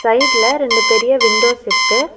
சைட்ல ரெண்டு பெரிய விண்டோஸ் இருக்கு.